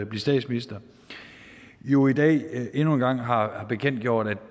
blive statsminister jo i dag endnu en gang har bekendtgjort at